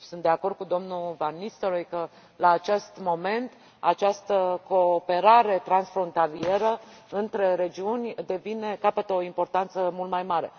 Sunt de acord cu domnul van Nistelrooij că, la acest moment, această cooperare transfrontalieră între regiuni capătă o importanță mult mai mare.